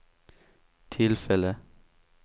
tillfälle